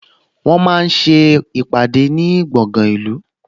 Wọ́n máa ń ṣe ìpàdé ní gbọ̀ngan ìlú